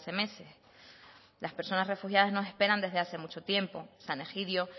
meses las personas refugiadas nos esperan desde hace mucho tiempo san egidio